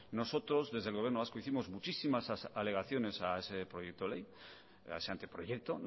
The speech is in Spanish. nosotros desde el gobierno vasco hicimos muchísimas alegaciones a ese proyecto de ley a ese anteproyecto